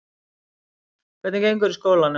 Hvernig gengur í skólanum?